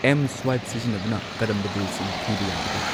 M swipe ꯁꯤꯖꯤꯟꯅꯗꯨꯅ ꯀꯔꯝꯕ ꯕꯤꯜꯁꯤꯡ ꯊꯤꯕ ꯌꯥꯕꯒꯦ?